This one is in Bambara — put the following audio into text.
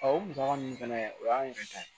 o musaka ninnu fana o y'an yɛrɛ ta ye